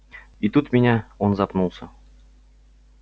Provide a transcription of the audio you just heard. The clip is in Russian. и тут меня он запнулся